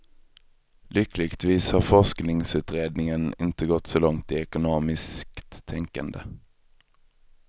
Lyckligtvis har forskningsutredningen inte gått så långt i ekonomistiskt tänkande.